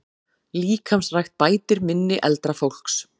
Líkamsrækt bætir minni eldra fólks